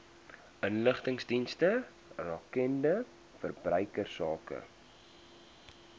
inligtingsdienste rakende verbruikersake